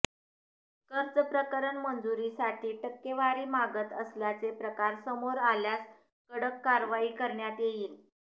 कर्जप्रकरण मंजुरीसाठी टक्केवारी मागत असल्याचे प्रकार समोर आल्यास कडक कारवाई करण्यात येईल